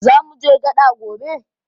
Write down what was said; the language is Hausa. Zamuje gaɗa gobe?